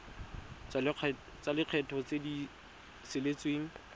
tsa lekgetho tse di saletseng